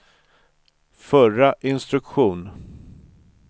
förra instruktion